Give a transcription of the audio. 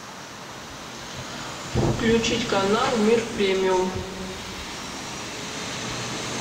включить канал мир премиум